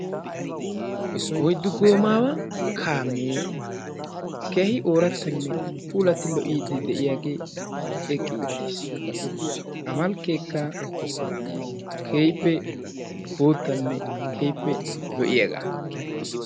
Oyddu goommaawa kaamee keehi oorattanne puulati lo'iidi de'iyaagee eqqi uttiis. A malkkeekka keehippe boottanne keehippe lo'iyagaa.